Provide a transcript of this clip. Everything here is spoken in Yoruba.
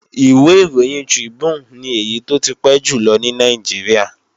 Ìwé ìròyìn Tribune ni èyí tó ti pẹ́ jùlọ ní Nàìjíríà